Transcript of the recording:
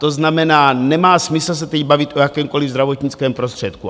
To znamená, nemá smysl se teď bavit o jakémkoliv zdravotnickém prostředku.